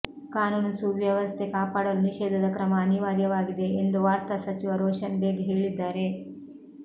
ಕಾನೂನು ಸುವ್ಯವಸ್ಥೆ ಕಾಪಾಡಲು ನಿಷೇಧದ ಕ್ರಮ ಅನಿವಾರ್ಯವಾಗಿದೆ ಎಂದು ವಾರ್ತಾ ಸಚಿವ ರೋಷನ್ ಬೇಗ್ ಹೇಳಿದ್ದಾರೆ